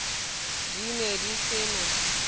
di ne di se na